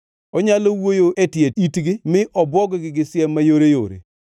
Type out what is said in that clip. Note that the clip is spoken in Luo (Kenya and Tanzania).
onyalo wuoyo e tie itgi mi obwog-gi gi siem mayoreyore,